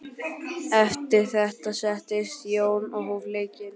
Eftir þetta settist Jón og hóf leikinn.